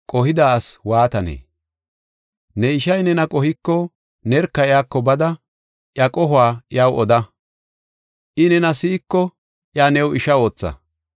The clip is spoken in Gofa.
“Ne ishay nena qohiko nerka iyako bada iya qohuwa iyaw oda. I nena si7iko iya new isha ootha.